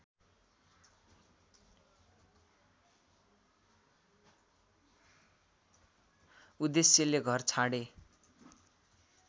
उद्देश्यले घर छाडे